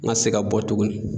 N ka se ka bɔ tuguni